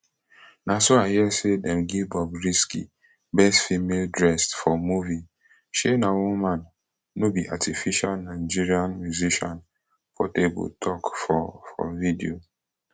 na so i hear say dem give bobrisky best female dressed for movie shey na woman no be artificialnigerian musician portabletok for for video